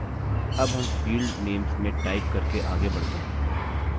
अब हम field names में टाइप करके आगे बढ़ते हैं